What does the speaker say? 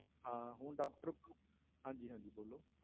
ਹਾਂ ਹੁਣ doctor ਹਾਂਜੀ ਹਾਂਜੀ ਬੋਲੋ।